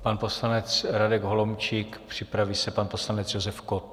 Pan poslanec Radek Holomčík, připraví se pan poslanec Josef Kott.